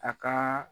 A ka